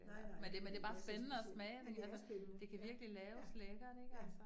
Nej nej men det giver næsten sig selv, men det er spændende, ja, ja, ja